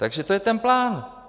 Takže to je ten plán.